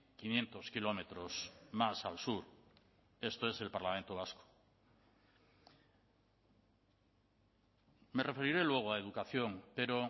quinientos kilómetros más al sur esto es el parlamento vasco me referiré luego a educación pero